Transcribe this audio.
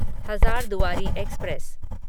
Hazarduari express